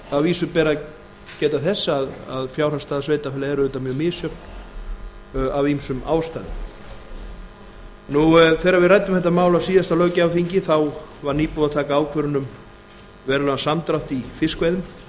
að vísu ber að geta þess að fjárhagsstaða sveitarfélaga er auðvitað mjög misjöfn af ýmsum ástæðum þegar við ræddum þetta mál á síðasta löggjafarþingi þá var nýbúið að taka ákvörðun um verulegan samdrátt í fiskveiðum